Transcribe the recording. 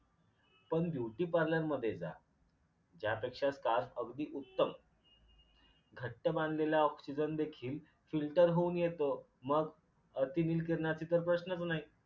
पण beautyparlour जा ज्यापेक्षा स्कार्फ अगदी उत्तम. घट्ट बांधलेला ऑक्सिजन देखील filter होऊन येतो मग अतिनील किरणाचे तर प्रश्नच नाही